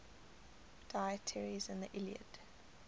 deities in the iliad